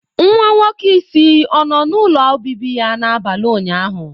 Nwa nwoke isi ọ nọ n'ụlọ obibi ya n'abalị ụnyaahụ?